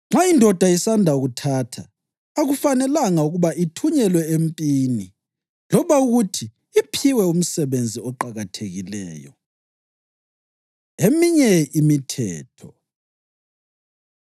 Nxa indoda isanda kuthatha, akufanelanga ukuba ithunyelwe empini loba ukuthi iphiwe umsebenzi oqakathekileyo.” Eminye Imithetho